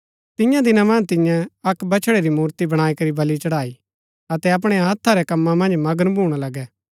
तियां दिना मन्ज तियें अक्क बछड़ै री मूर्ति बणाई करी बलि चढ़ाई अतै अपणै हत्था रै कम्मा मन्ज मगन भूणा लगै